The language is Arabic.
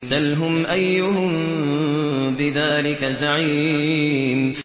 سَلْهُمْ أَيُّهُم بِذَٰلِكَ زَعِيمٌ